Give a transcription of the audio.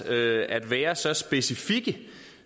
at være så specifik